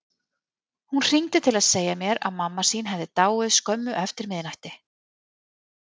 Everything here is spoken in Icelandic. Hún hringdi til að segja mér að mamma sín hefði dáið skömmu eftir miðnætti.